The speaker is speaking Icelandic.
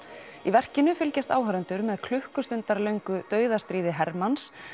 í verkinu fylgjast áhorfendur með dauðastríði hermanns